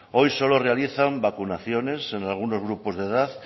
hoy solo realizan vacunaciones en algunos grupos de edad